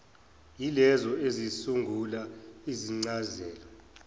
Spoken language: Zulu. yilezo ezisungula izincazelo